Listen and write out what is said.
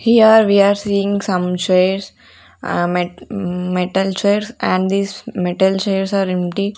here we are seeing some chairs ahh met metal chairs and this metal chairs are empty.